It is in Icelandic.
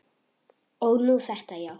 Og nú þetta, já.